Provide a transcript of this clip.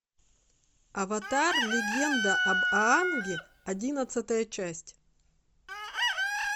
аватар легенда об аанге одиннадцатая часть